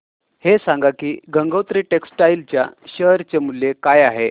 हे सांगा की गंगोत्री टेक्स्टाइल च्या शेअर चे मूल्य काय आहे